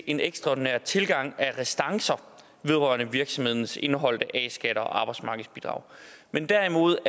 en ekstraordinær tilgang af restancer vedrørende virksomhedernes indeholdte a skat og arbejdsmarkedsbidrag men derimod